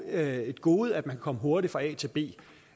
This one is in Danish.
er et gode at man kan komme hurtigt fra a til b